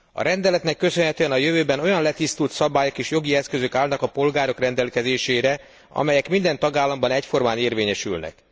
A rendeletnek köszönhetően a jövőben olyan letisztult szabályok és jogi eszközök állnak a polgárok rendelkezésére, amelyek minden tagállamban egyformán érvényesülnek.